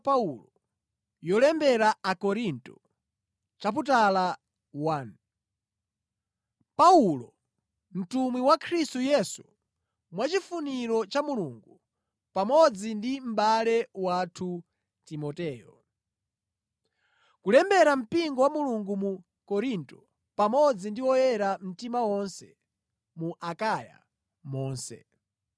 Paulo, mtumwi wa Khristu Yesu mwachifuniro cha Mulungu, pamodzi ndi mʼbale wathu Timoteyo, Kulembera mpingo wa Mulungu mu Korinto, pamodzi ndi oyera mtima onse mu Akaya monse.